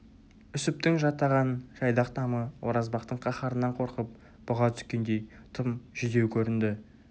үсіптің жатаған жайдақ тамы оразбақтың қаһарынан қорқып бұға түскендей тым жүдеу көрінді